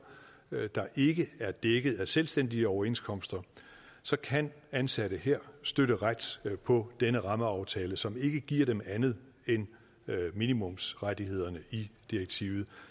i ikke er dækket af selvstændige overenskomster så kan ansatte her støtte ret på den rammeaftale som ikke giver dem andet end minimumsrettighederne i direktivet